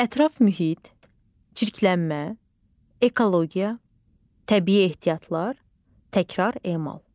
Ətraf mühit, çirklənmə, ekologiya, təbii ehtiyatlar, təkrar emal.